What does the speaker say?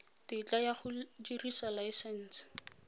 tetla ya go dirisa laesense